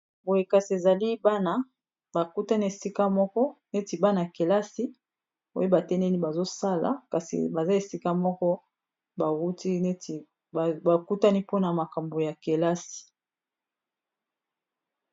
Boye kasi ezali bana. bakutani esika moko neti bana kelasi oyo batelemi bazosala kasi baza esika moko bawuti neti bakutani mpona makambo ya kelasi.